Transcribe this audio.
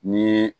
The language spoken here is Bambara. Ni